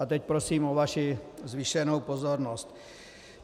A teď prosím o vaši zvýšenou pozornost.